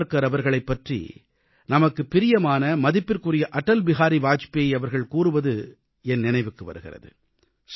சாவர்க்கார் அவர்களைப் பற்றி நமக்குப் பிரியமான மதிப்பிற்குரிய அடல் பிஹாரி வாஜ்பேயி அவர்கள் கூறுவது என் நினைவிற்கு வருகிறது